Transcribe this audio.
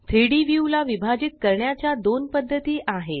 3Dव्यू ला विभाजित करण्याच्या दोन पद्धती आहेत